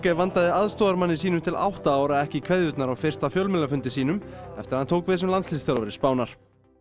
vandaði aðstoðarmanni sínum til átta ára ekki kveðjurnar á fyrsta fjölmiðlafundi sínum eftir að hann tók við sem landsliðsþjálfari Spánar